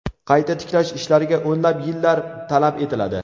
Qayta tiklash ishlariga o‘nlab yillar talab etiladi.